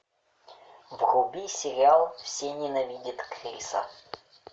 вруби сериал все ненавидят криса